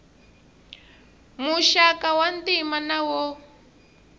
muxaka wa ntima na wo